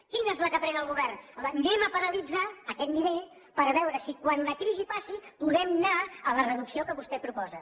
quina és la que pren el govern home anem a paralitzar aquest nivell per veure si quan la crisi passi podem anar a la reducció que vostè proposa